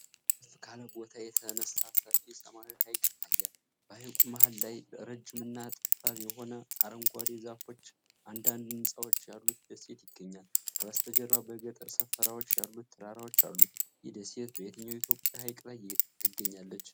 ከፍ ካለ ቦታ የተነሳ ሰፊ ሰማያዊ ሐይቅ ይታያል። በሐይቁ መሃል ላይ፣ ረጅም እና ጠባብ የሆነ፣ አረንጓዴ ዛፎችና አንዳንድ ህንፃዎች ያሉት ደሴት ይገኛል። ከበስተጀርባ በገጠር ሰፈራዎች ያሉት ተራራዎች አሉ። ይህ ደሴት በየትኛው የኢትዮጵያ ሐይቅ ላይ ትገኛለች?